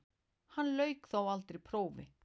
Hann lauk þó aldrei prófi.